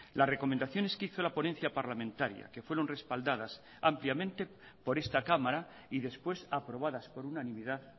las recomendaciones que hizo la ponencia parlamentaria que fueron respaldadas ampliamente por esta cámara y después aprobadas por unanimidad